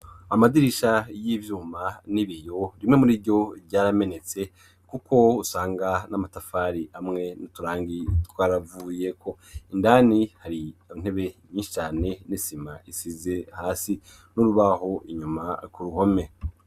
Amadirisha y'ivyuma n'ibiyo rimwe muri ivyo vyaramenetse kuko usanga n'amatafari amwe n'uturangi twaravuye ko indani hari intebe nyinshi cane n'isima isize hasi n'urubaho inyuma ku ruhome.